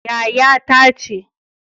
Yaya ta ce